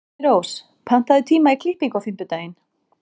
Þyrnirós, pantaðu tíma í klippingu á fimmtudaginn.